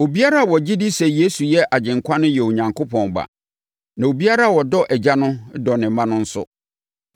Obiara a ɔgye di sɛ Yesu yɛ Agyenkwa no yɛ Onyankopɔn ba. Na obiara a ɔdɔ Agya no dɔ ne mma no nso.